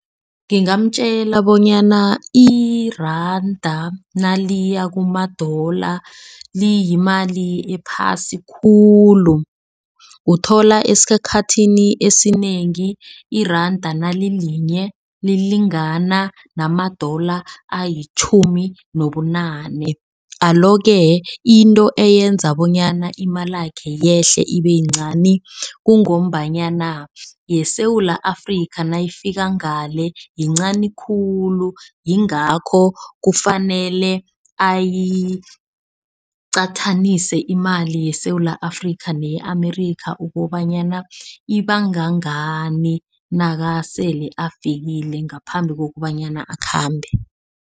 Ngingamtjela bonyana iranda naliya kumadola liyimali ephasi khulu. Uthola esikhathini esinengi iranda nalilinye lilingana namadola alitjhumi nobunane. Alo-ke into eyenza bonyana imalakhe yehle ibe yincani kungombanyana yeSewula Afrika nayifika ngale yincani khulu. Yingakho kufanele ayiqathanise imali yeSewula Afrika neye-America ukobanyana ibangangani nakasele afikile ngaphambi kokobanyana akhambe.